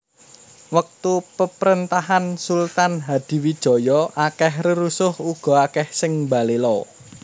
Wektu peprentahan Sultan Hadiwijaya akeh rerusuh uga akeh sing mbalela